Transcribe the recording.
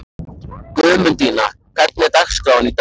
Guðmundína, hvernig er dagskráin í dag?